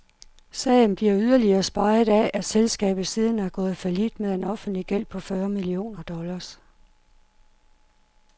Sagen bliver yderligere speget af, at selskabet siden er gået fallit med en offentlig gæld på fyrre millioner dollars.